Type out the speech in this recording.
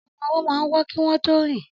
Ọmọ-ọwọ́ máa ń wọ́ kí wọ́n tó rìn